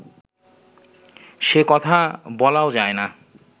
সে কথা বলাও যায় না